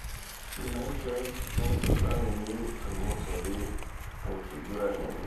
United neisula uni to mosori enkiguran enye